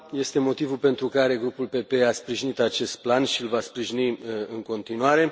Este motivul pentru care Grupul PPE a sprijinit acest plan și îl va sprijini în continuare.